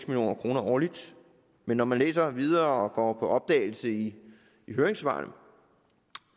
million kroner årligt men når man læser videre og går på opdagelse i høringssvarene